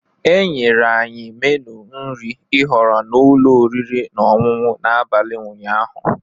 E nyere anyị meenụ nri ihọrọ na ụlọ oriri na ọṅụṅụ n'abalị ụnyaahụ.